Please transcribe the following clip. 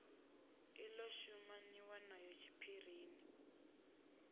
i ḓo shumaniwa nayo tshiphirini